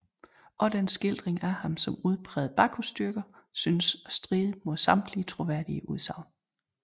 Også den skildring af ham som udpræget Bacchusdyrker synes at stride mod samtidige troværdige udsagn